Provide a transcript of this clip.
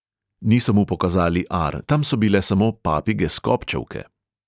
Niso mu pokazali ar, tam so bile samo papige skobčevke.